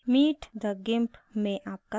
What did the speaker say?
meet the gimp में आपका स्वागत है